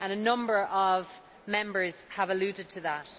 A number of Members have alluded to that.